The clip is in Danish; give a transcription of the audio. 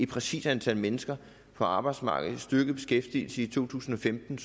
præcist antal mennesker på arbejdsmarkedet en styrket beskæftigelse i to tusind og femten